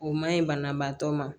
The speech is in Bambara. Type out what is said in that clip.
O ma ɲi banabaatɔ ma